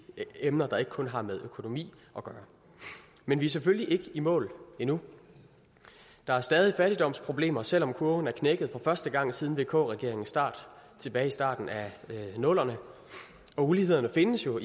emner der ikke kun har med økonomi at gøre men vi er selvfølgelig ikke i mål endnu der er stadig fattigdomsproblemer selv om kurven er knækket for første gang siden vk regeringens start tilbage i starten af nullerne uligheden findes jo